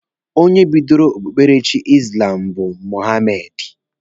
Onye bidoro okpukperechi izlamu bu Mohamedi